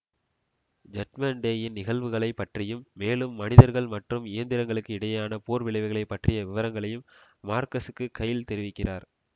judgement டேயின் நிகழ்வுகளை பற்றியும் மேலும் மனிதர்கள் மற்றும் இயந்திரங்களுக்கு இடையேயான போர் விளைவுகளை பற்றிய விவரங்களையும் மார்கஸுக்கு கைல் தெரிவிக்கிறார்